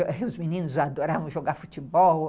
Os meninos adoravam jogar futebol.